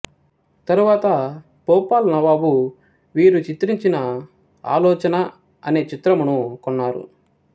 తరువాత భోపాల్ నవాబు వీరు చిత్రించిన ఆలోచన అనే చిత్రమును కొన్నారు